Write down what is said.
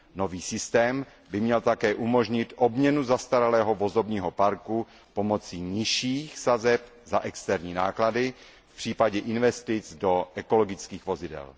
Nový systém by měl také umožnit obměnu zastaralého vozového parku pomocí nižších sazeb za externí náklady v případě investic do ekologických vozidel.